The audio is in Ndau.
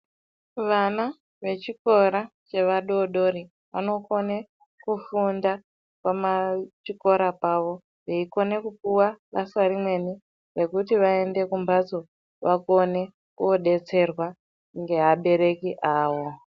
Vana vechikora chevadodori vakone kufunda pachikora pavo veikona kupuwa basa rimweni rekuti vaende kumhatso vakone kudetserwa ngevabereki avo.